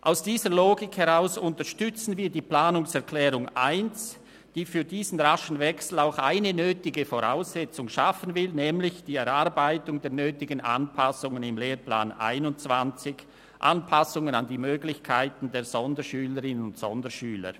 Aus dieser Logik heraus unterstützen wir die Planungserklärung 1, die für diesen raschen Wechsel auch eine nötige Voraussetzung schaffen will, nämlich die Erarbeitung der nötigen Anpassungen im Lehrplan 21 an die Möglichkeiten der Sonderschülerinnen und Sonderschüler.